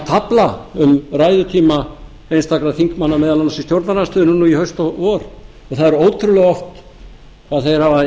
tafla um ræðutíma einstakra þingmanna meðal annars í stjórnarandstöðunni núna í haust og vor það er ótrúlega oft að þeir hafa